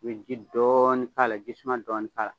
I bɛ ji dɔɔni k' a la, jisuman dɔɔni k'a la.